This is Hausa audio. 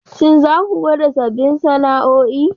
Shin za ku gwada sabbin sana'o'i?